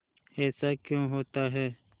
ऐसा क्यों होता है